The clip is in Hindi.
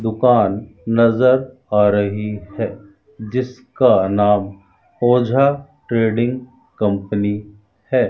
दुकान नज़र आ रही है जिसका नाम ओझा ट्रेडिंग कंपनी है।